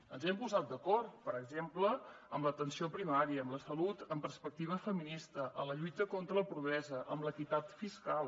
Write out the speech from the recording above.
ens hi hem posat d’acord per exemple en l’atenció primària en la salut amb perspectiva feminista en la lluita contra la pobresa en l’equitat fiscal